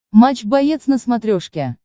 матч боец на смотрешке